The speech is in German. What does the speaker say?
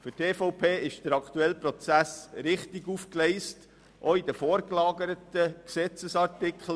Für die EVP ist der aktuelle Prozess richtig aufgegleist, auch in den vorgelagerten StG-Artikeln.